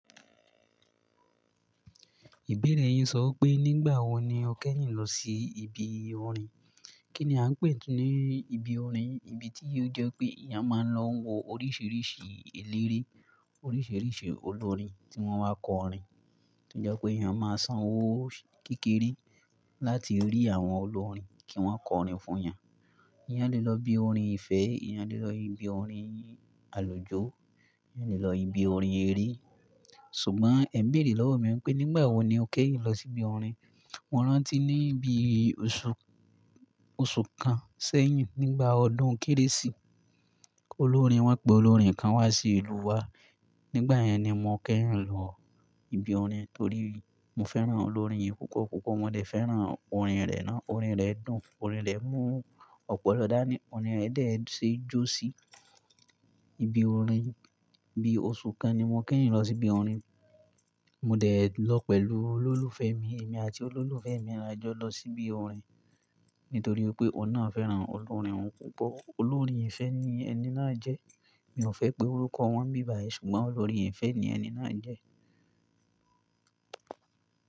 Ìbéèrè yín sọ pé nígbà wo ni o kẹ́yìn lọ sí ibi orin? Kí ni a ń pè tuní ibi orin? Ibi tí ó jẹ́ pé iyan máa ń lọ wo oríṣiríṣi eléré, oríṣiríṣi olórin tí wọ́n wá kọ orin. Tí ó je pé èèyàn máa sanwó kékeré láti rí àwọn olórin kí wọ́n kọ orin fún iyan. Iyan le lọ ibi orin ìfẹ́, iyan le lọ ibi orin àlujò, iyan le lọ ibi orin eré. Ṣùgbọ́n ẹ̀mí lè lọ́wọ́ mi wípé nígbà wo ni o kẹ́yìn lọ sí ibi orin? Mo rántí ní bí oṣù, oṣù kan sẹ́yìn nígbà ọdún Kérésì. Olórin wọ́n pé olórin kan wá sí ìlú wa. Nígbà yẹn ni mo kẹ́yìn lọ ibi orin torí mo fẹ́ràn olórin yìí púpọ̀. Púpọ̀ wọ́n dè fẹ́ràn orin rè náà. Orin rè dùn, orin rè mú ọ̀pọ̀lọ́ dá ní, orin rè dè sẹ́ jọsí. Ibi orin, bí oṣù kan ni mo kẹ́yìn lọ sí ibi orin. Mo dè lọ pẹ̀lú olólùfẹ́ mi, èmi àti olólùfẹ́ mi la jọ lọ sí ibi orin. Nítorí pé ọ̀nà fẹ́ràn olórin òún púpọ̀. Olórin ìfẹ́ ni ẹni náà jẹ́. Mi ò fẹ́ pé orúkọ wọ́n bíbàye ṣùgbọ́n olórin ìfẹ́ ni ẹni náà jẹ́.